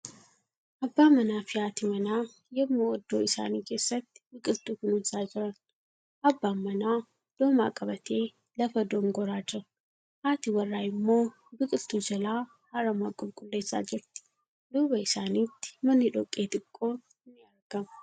Abbaa manaa fi haati manaa yemmuu oddoo isaanii keessatti biqiltuu kunuunsaa jiran. Abbaan manaa doomaa qabatee lafa dongoraa jira. Haati warraa immoo biqiltuu jalaa aramaa qulqulleessaa jirti. Duuba isaaniitti manni dhoqqee xiqqoon ni argama.